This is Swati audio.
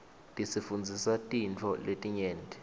tisifundzisa tintfo letinyenti